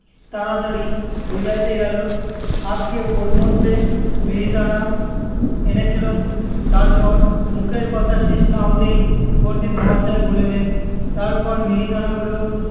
তাড়াতাড়ি বুঝাইতে গেল্‌ আজ্ঞে ওর মধ্যে মিহিদানা এনেছিলুম। তারপর মুখের কথা শেষ না হতেই পণ্ডিত মহাশয় বলিলেন, তারপর মিহিদানা গুলো